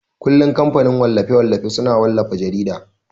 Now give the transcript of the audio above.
kullun kamfanin wallafe-wallafe suna wallafa jarida.